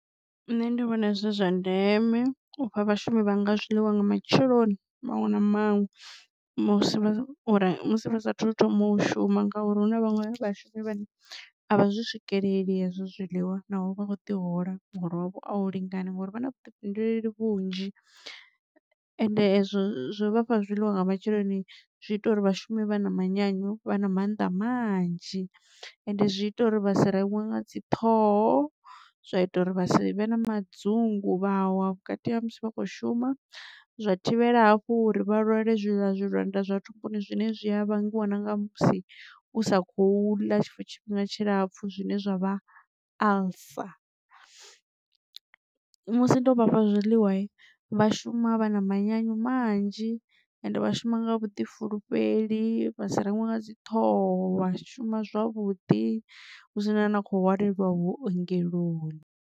Nṋe ndi vhona zwi zwa ndeme ufha vhashumi vha nga zwiḽiwa nga matsheloni maṅwe na maṅwe musi vha sa thu thoma u shuma ngauri hu na vhaṅwe vha vhashumi vhane avha zwi swikelela hezwo zwiḽiwa naho vha kho ḓi hola muholo wavho a u lingana ngori vha na vhuḓifhinduleli vhunzhi. Ende izwo zwo vhafha zwiḽiwa nga matsheloni zwi ita uri vhashume vha na manyanyu vha na mannḓa manzhi ende zwi ita uri vha si reṅwe nga dzi ṱhoho zwa ita uri vha si vhe na madzungu vha wa vhukati ha musi vha khou shuma zwa thivhela hafhu uri vha lwale zwi ḽa zwiḽiwa nda zwa thumbuni zwine zwi a vhangiwa na nga musi u sa khou ḽa tshiṅwe tshifhinga tshilapfu zwine zwa vha alcer. Musi ndo vhafha zwiḽiwa vha shuma vha na manyanyu manzhi ende vha shuma nga vhuḓifulufheli vha si reṅwe nga dzi ṱhoho vha shuma zwavhuḓi hu si na ano khou hwalelwa vhuongeloni.